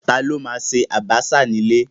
Ta ló ma ṣe àbàṣà ní ilé?